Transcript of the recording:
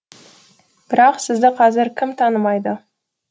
бірақ сізді қазір кім танымайды